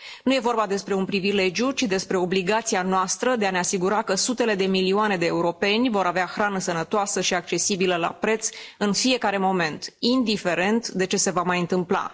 Nu e vorba despre un privilegiu, ci despre obligația noastră de a ne asigura că sutele de milioane de europeni vor avea hrană sănătoasă și accesibilă la preț în fiecare moment, indiferent de ce se va mai întâmpla.